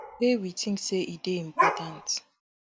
wey we think say e dey important